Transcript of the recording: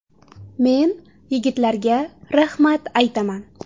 Men yigitlarga rahmat aytaman.